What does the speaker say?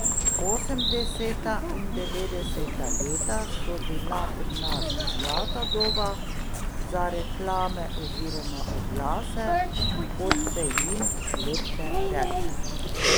Osemdeseta in devetdeseta leta so bila pri nas zlata doba za reklame oziroma oglase, kot se jim lepše reče.